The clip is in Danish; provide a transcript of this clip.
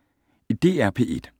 DR P1